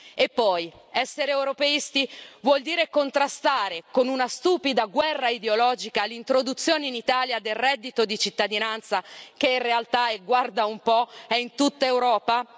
E poi, essere europeisti vuol dire contrastare con una stupida guerra ideologica l'introduzione in Italia del reddito di cittadinanza che guarda un po' è una realtà in tutta Europa?